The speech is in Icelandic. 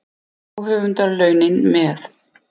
Og höfundarlaunin með.